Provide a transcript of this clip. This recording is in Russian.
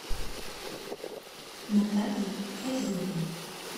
натальей файзуллиной